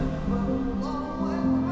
Allahu Akbar, Allahu Akbar.